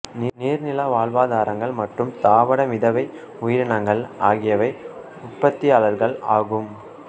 நீர் நில வாழ் தாவரங்கள் மற்றும் தாவர மிதவை உயிரினங்கள் ஆகியவை உற்பத்தியாளர்கள் ஆகும்